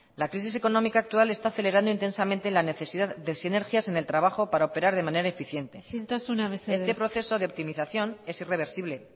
la crisis económica actual está acelerando intensamente la necesidad de sinergias en el trabajo para operar de manera eficiente isiltasuna mesedez este proceso de optimización es irreversible